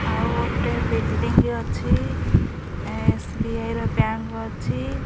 ଆଉ ଗୋଟେ ବିଲ୍ଡିଙ୍ଗି ଅଛି ଏସବିଆଇ ର ବ୍ୟାଙ୍କ୍ ଅଛି।